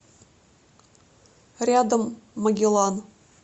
рядом магеллан